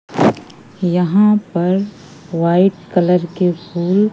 यहां पर white colour के फूल--